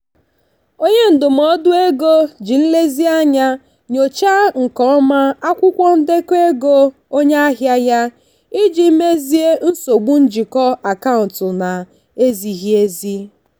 onye ndụmọdụ ego ji nlezianya nyochaa nke ọma akwụkwọ ndekọ ego onye ahịa ya iji mezie nsogbu njikọ akaụntụ na-ezighị ezi.